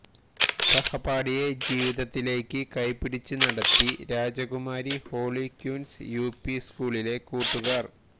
സഹപാഠിയെ ജീവിതത്തിലേക്ക് കൈപിടിച്ച് നടത്തി രാജകുമാരി ഹോളി ക്യൂന്സ് യുപി സ്കൂളിലെ കൂട്ടുകാര്